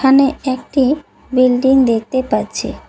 এখানে একটি বিল্ডিং দেখতে পাচ্ছি।